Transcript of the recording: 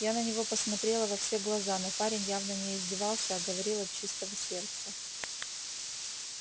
я на него посмотрела во все глаза но парень явно не издевался а говорил от чистого сердца